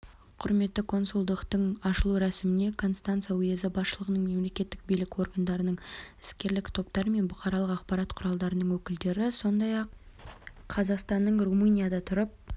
құрметті консулдықтың ашылу рәсіміне констанца уезі басшылығының мемлекеттік билік органдарының іскерлік топтар мен бұқаралық ақпарат құралдарының өкілдері сондай-ақ қазақстанның румынияда тұрып